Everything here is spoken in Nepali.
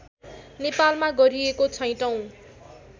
नेपालमा गरिएको छैटौँ